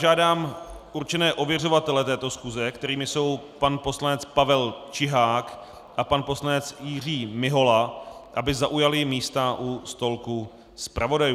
Žádám určené ověřovatele této schůze, kterými jsou pan poslanec Pavel Čihák a pan poslanec Jiří Mihola, aby zaujali místa u stolku zpravodajů.